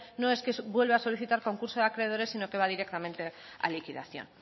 no es que vuelva a solicitar concurso de acreedores sino que va directamente a liquidación